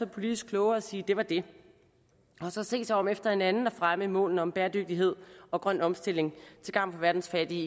politisk klogere at sige at det var det og så se sig om efter en anden måde at fremme målene om bæredygtighed og grøn omstilling til gavn for verdens fattige